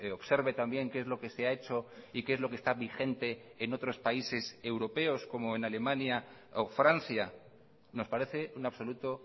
observe también qué es lo que se ha hecho y qué es lo que está vigente en otros países europeos como en alemania o francia nos parece un absoluto